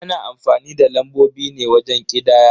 Ana amfani da lambobi ne wajen ƙidaya.